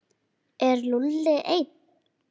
Er Lúlli einn?